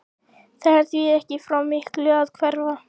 Það er því ekki frá miklu að hverfa.